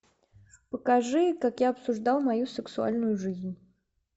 покажи как я обсуждал мою сексуальную жизнь